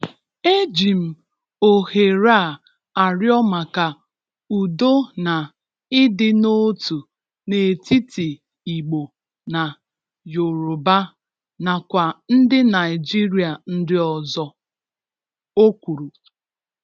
E ji m ohere a arịọ maka udo na ịdị n’otu n’etiti Igbo na Yoruba nakwa ndị Naịjịrịa ndị ọzọ,’ o kwuru.